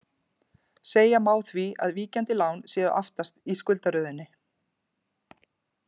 Segja má því að víkjandi lán séu aftast í skuldaröðinni.